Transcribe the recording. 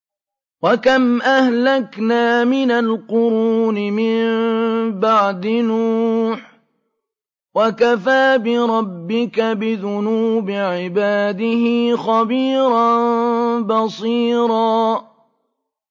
وَكَمْ أَهْلَكْنَا مِنَ الْقُرُونِ مِن بَعْدِ نُوحٍ ۗ وَكَفَىٰ بِرَبِّكَ بِذُنُوبِ عِبَادِهِ خَبِيرًا بَصِيرًا